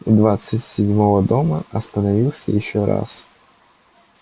у двадцать седьмого дома остановился ещё раз